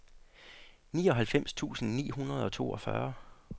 nioghalvfems tusind ni hundrede og toogfyrre